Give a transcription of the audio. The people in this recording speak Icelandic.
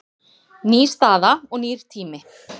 Ný staða og nýr tími